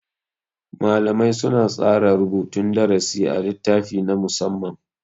Malamai suna tsara rubutun darasi a littafi na musamma.